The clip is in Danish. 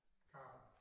Carl